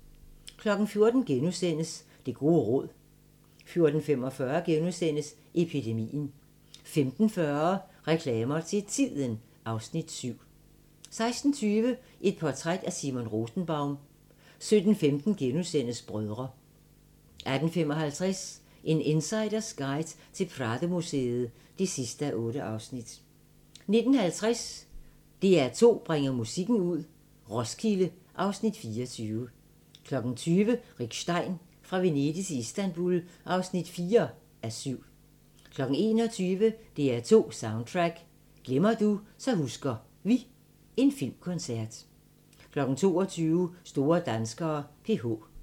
14:00: Det gode råd * 14:45: Epidemien * 15:40: Reklamer til Tiden (Afs. 7) 16:20: Et portræt af Simon Rosenbaum 17:15: Brødre * 18:55: En insiders guide til Pradomuseet (8:8) 19:50: DR2 bringer musikken ud – Roskilde (Afs. 24) 20:00: Rick Stein: Fra Venedig til Istanbul (4:7) 21:00: DR2 Soundtrack: Glemmer du, så husker vi – en filmkoncert 22:00: Store danskere: PH